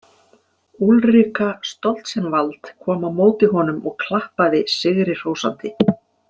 Úlrika Stoltzenwald kom á móti honum og klappaði sigri hrósandi.